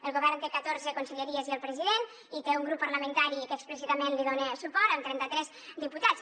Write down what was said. el govern té catorze conselleries i el president i té un grup parlamentari que explícitament li dona suport amb trenta tres diputats